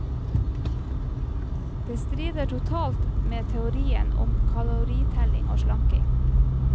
Dette strider totalt med teorien om kaloritelling og slanking.